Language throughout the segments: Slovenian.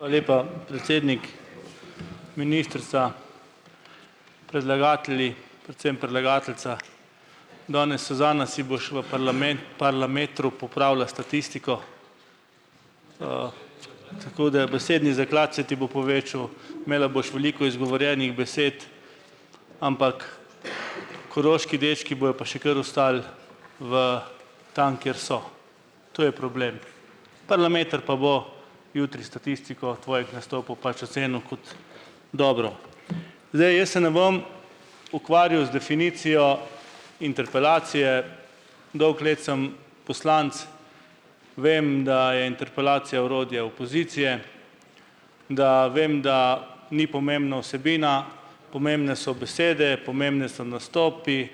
Lepa predsednik, ministrica, predlagatelji, predvsem predlagateljica danes, Suzana, si boš ve Parlametru popravila statistiko, tako da besedni zaklad se ti bo povečal, imela boš veliku izgovorjenih besed, ampak koroški dečki bojo pa še kar ostali v tam, kjer so. To je problem. Parlameter pa bo jutri statistiko tvojih nastopov pač ocenil kot dobro. Zdaj, jaz se ne bom ukvarjal z definicijo interpelacije. Dolgo let sem poslanec, vem, da je interpelacija orodje opozicije, da vem, da ni pomembna vsebina, pomembne so besede, pomembni so nastopi,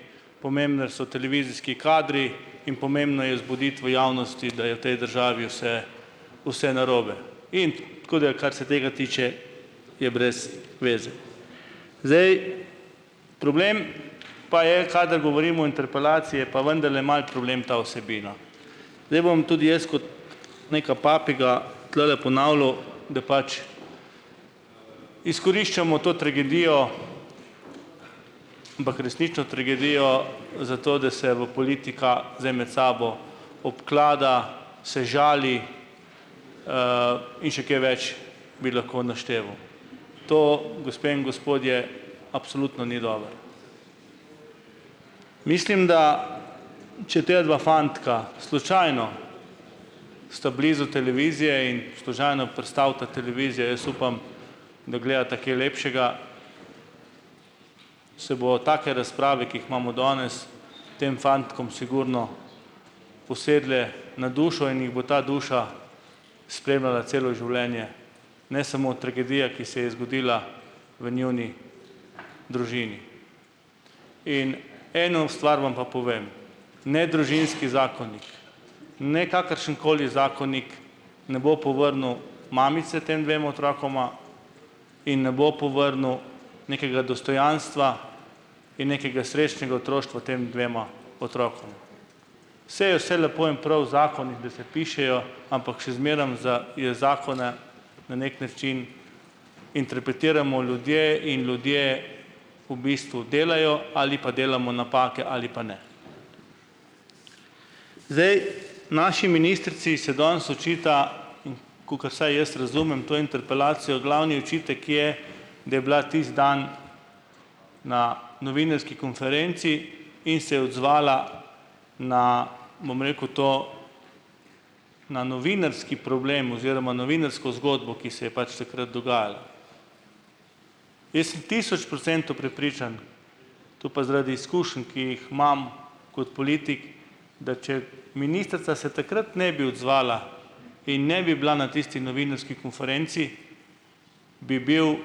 so televizijski kadri in pomembno je zbuditi v javnosti, da je v tej državi vse vse nrobe. In, tako da kar se tega tiče, je brez veze. Zdaj, problem pa je, kadar govorim v interpelaciji, je pa vendarle malo problem ta vsebina. Zdaj bom tudi jaz kot neka papiga tulele ponavljal, da pač izkoriščamo to tragedijo, tragedijo za to, da se v politika zdaj med sabo obklada, se žali, in še kje več bi lahko našteval. To, gospe in gospodje, absolutno ni dobro. Mislim, da če dva fantka slučajno sta blizu televizije in prestavita televizijo, jaz upam, da gledata kaj lepšega, se bomo take razprave, ki jih imamo danes, tem fantkom sigurno usedle na dušo in jih bo ta duša spremljala celo življenje, ne samo tragedija, ki se je zgodila v njuni družini. In eno stvar vam pa povem. Ne družinski zakonik ne kakršenkoli zakonik, ne bo povrnil mamice dvema otrokoma in ne bo povrnil nekega dostojanstva in nekega srečnega otroštva tema dvema otrokoma. Saj je vse lepo in prav, zakoni, da se pišejo, ampak še zmerom za je zakone na neki način interpretiramo ljudje in ljudje v bistvu delajo ali pa delamo napake ali pa ne. Zdaj, naši ministrici se danes očita, kakor saj jaz razumem, to interpelacijo. Glavni očitek je, da je bila tisti dan na novinarski konferenci in se je odzvala na, bom rekel, to, na novinarski problem oziroma novinarsko zgodbo, ki se je pač takrat dogajala. Jaz sem tisoč procentov prepričan, to pa zaradi izkušenj, ki jih imam kot politik, da če ministrica se takrat ne bi odzvala in ne bi bila na tisti novinarski konfrenci, bi bil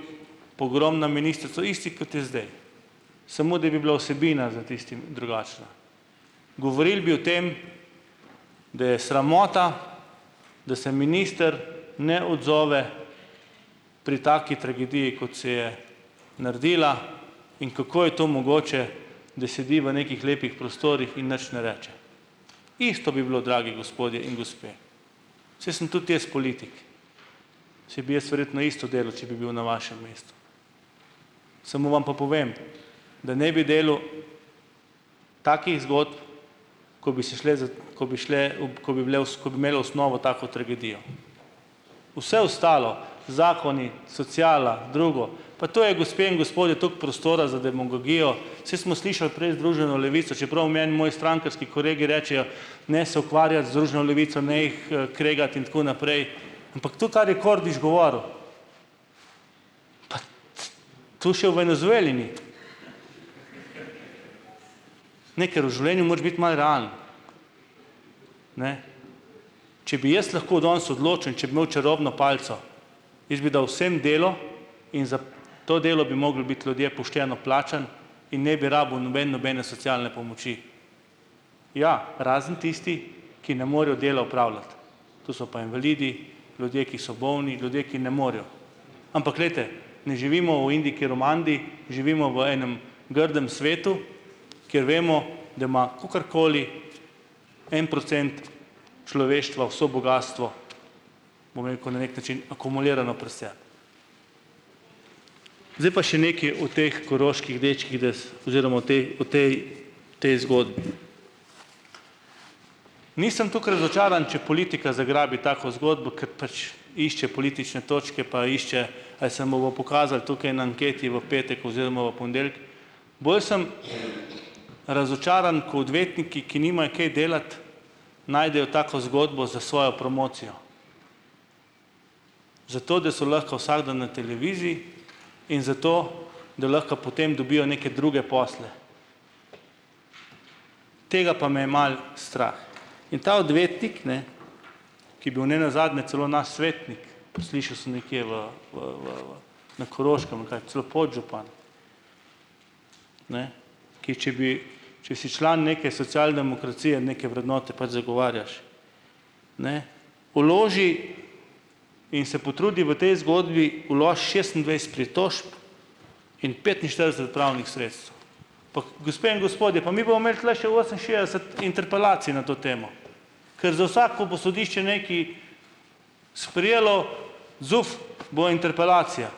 pogrom na ministrico isti, kot je zdaj, samo da bi bila vsebina za tistim drugačna. Govorili bi o tem, da je sramota, da se minister ne odzove pri taki tragediji, kot se je naredila, in kako je to mogoče, da sedi v nekih lepih prostorih in nič ne reče. Isto bi bilo, dragi gospodje in gospe. Saj sem tudi jaz politik, saj bi jaz verjetno isto delal, če bi bil na vašem mestu, samo vam pa povem, da ne bi delal takih zgodb, ko bi ko bi šle ko bi bile osnovo tako tragedijo. Vse ostalo, zakoni, sociala, drugo, pa to je, gospe in gospodje, toliko prostora z demagogijo, saj smo slišali prej Združeno levico, čeprav meni moji strankarski kolegi rečejo, ne, Levico, ne jih, kregati, in tako naprej, ampak to, kar je Kordiš govoril, tu še v Venezueli ni. Ne, ker v življenju moraš biti malo. Ne. Če bi jaz lahko danes odločil in če bi imel čarobno palico, jaz bi dal vsem delo in za to delo bi mogli biti ljudje pošteno plačani in ne bi rabili noben nobene socialne pomoči. Ja, razen tisti, ki ne morejo dela opravljati, tu so pa invalidi, ljudje, ki so bolni, ljudje ki ne morejo, ampak glejte, ne živimo v Indiji Koromandiji, živimo v enem grdem svetu, kjer vemo, da ima kakorkoli en procent človeštva vse bogastvo, bom rekel, ne, nekaj akumulirano pri ... Zdaj pa še nekaj o teh koroških dečkih oziroma o tej tej zgodbi. Nisem toliko razočaran, če politika zagrabi tako zgodbo, ker pač išče politične točke, pa išče ali se mu bo pokazalo tukaj na anketi v petek oziroma v ponedeljek. Bolj sem razočaran, ko odvetniki, ki nimajo kaj delati, najdejo tako zgodbo za svojo promocijo, zato da so lahko vsak dan na televiziji in zato, da lahko potem dobijo neke druge posle. Tega pa me je malo strah. In ta odvetnik, ne, ki bil nenazadnje celo nas svetnik, slišal sem nekje v v v v na Koroškem celo podžupan, ne, ki če bi če si član neke socialdemokracije, neke vrednote pač zagovarjaš, ne, vloži in se potrudi v tej zgodbi šestindvajset pritožb in petinštirideset pravnih sredstev. Gospe in gospodje, pa mi bomo imeli tule še oseminšestdeset interpelacij na to temo, kar za vsak, ko bo sodišče nekaj sprejelo, zuf bo interpelacija.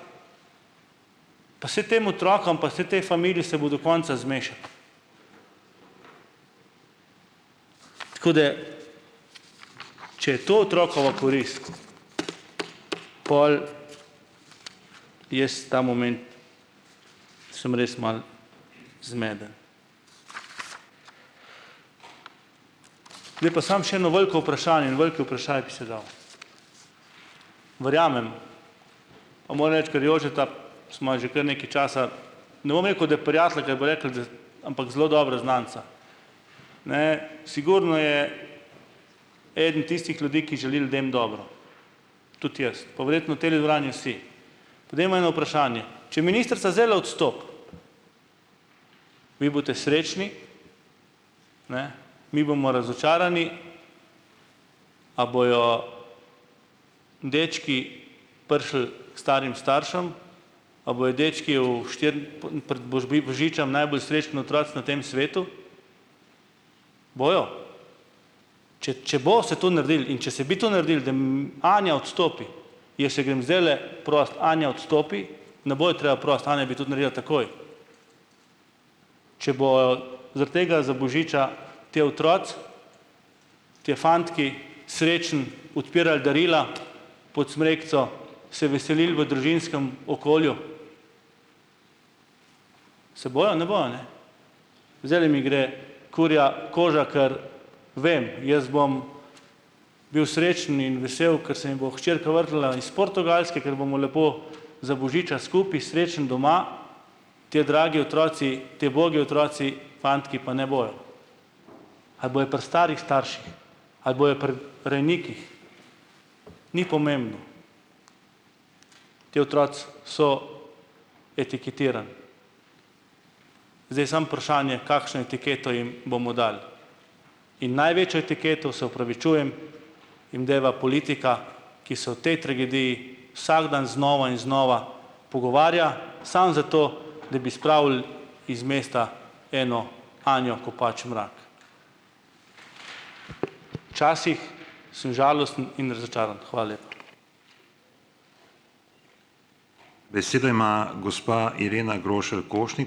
Pa saj tem otrokom pa se tej familiji se bo do konca. Tako da če je to otrokova korist, pol jaz ta moment sem res malo zmeden. Pa sam še eno veliko vprašanje, en velik vprašaj bi se dal. Verjamem, reči, ker Jožeta, sva že kar nekaj časa, da, prijatelja, kaj bo rekel, da, ampak zelo dobra znanca. Ne, sigurno je eden tistih ljudi, ki želi ljudem dobro. Tudi jaz. Pa verjetno teli dvorani vsi. Pa dajmo eno vprašanje. Če ministrica zdajle odstopi, vi boste srečni, ne, mi bomo razočarani. A bojo dečki prišli k starim staršem? A bojo dečki v božičem najbolj srečen otroci na tem svetu? Bojo? Če če bo se to naredilo in če se bi to naredilo, Anja odstopi, jaz jo grem zdajle prosit: "Anja odstopi." Ne bo jo treba prositi. Anja bi takoj, če zaradi tega za božiča ti otroci, ti fantki srečno odpirali darila pod smrekico, se veselili v družinskem okolju. Se bojo? Ne bojo, ne. Zdajle mi gre kurja koža, ker vem, jaz bom bil srečen in vesel, kar se mi bo hčerka iz Portugalske, ker bomo lepo za božiča skupaj, srečen doma. Ti dragi otroci, ti ubogi otroci, fantki pa ne bojo. A pri starih starših? Ali bojo pri rejnikih? Ni pomembno. Ti otroci so etiketirani. Zdaj je samo vprašanje, kakšno etiketo jim bomo dali. In največjo etiketo, se opravičujem, jim deva politika, ki se v tej tragediji vsak dan znova in znova pogovarja samo zato, da bi spravili iz mesta eno Anjo Kopač Mrak. Včasih sem žalosten in ... Hvala lepa.